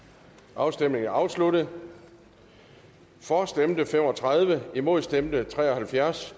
afstemningen er afsluttet for stemte fem og tredive imod stemte tre og halvfjerds